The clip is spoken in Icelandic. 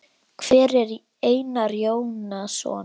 Hver er Einar Jónsson?